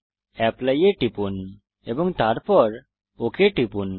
apply এ টিপুন এবং তারপর ওক টিপুন